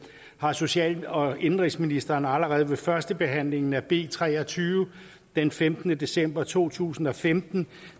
har social og indenrigsministeren allerede ved førstebehandlingen af b tre og tyve den femtende december to tusind og femten